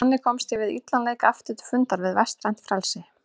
Þannig komst ég við illan leik aftur til fundar við vestrænt frelsi.